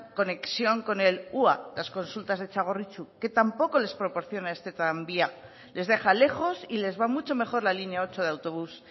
conexión con el hua las consultas de txagorritxu que tampoco les proporciona este tranvía les deja lejos y les va mucho mejor la línea ocho de autobús